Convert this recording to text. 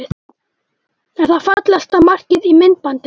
Er það fallegasta markið í myndbandinu?